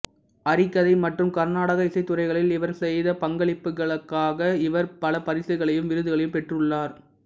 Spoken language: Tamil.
ஹரிகதை மற்றும் கர்நாடக இசைத் துறைகளில் இவர் செய்த பங்களிப்புகளுக்காக இவர் பல பரிசுகளையும் விருதுகளையும் பெற்றுள்ளார்